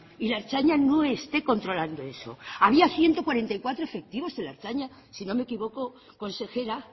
y la ertzaintza no esté controlando eso había ciento cuarenta y cuatro efectivos de la ertzaintza si no me equivoco consejera